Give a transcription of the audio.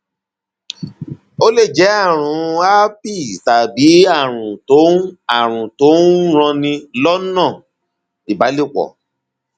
ó lè jẹ ààrùn um herpes tàbí ààrùn tó ń ààrùn tó ń um ranni lọnà um ìbálòpọ